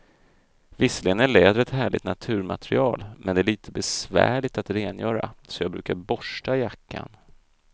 Visserligen är läder ett härligt naturmaterial, men det är lite besvärligt att rengöra, så jag brukar borsta jackan.